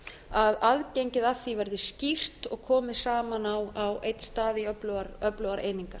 að aðgengið að því verði skýrt og komi saman á einn stað í öflugar einingar